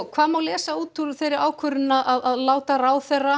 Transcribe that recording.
hvað má lesa út úr þeirri ákvörðun að láta ráðherra